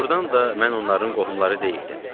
Doğrudan da mən onların qohumları deyildim.